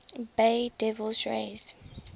bay devil rays